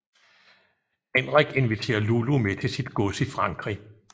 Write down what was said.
Henrik inviterer Lulu med til sit gods i Frankrig